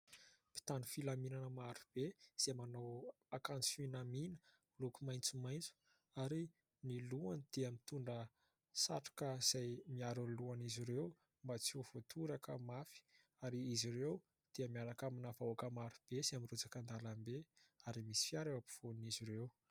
Mpitandro filaminana maro be izay manao akanjo fanamiana miloko maitsomaitso ary ny lohany dia mitondra satroka izay miaro lohan'izy ireo mba tsy ho voatoraka mafy ary izy ireo dia miaraka amina vahoaka maro be izay mirotsaka an-dalambe ary misy fiara eo ampovoan'izy ireo.